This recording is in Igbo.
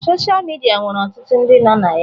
Sochaa midia nwere ọtụtụ ndị nọ na ya.